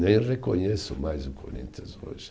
Nem reconheço mais o Corinthians hoje.